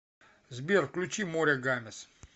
сбер включи море гамес